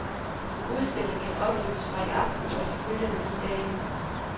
Udstillingen kan opleves fra i aften og de følgende ni dage.